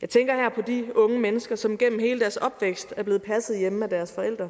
jeg tænker her på de unge mennesker som gennem hele deres opvækst er blevet passet hjemme af deres forældre